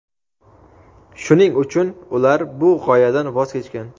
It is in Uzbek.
shuning uchun ular bu g‘oyadan voz kechgan.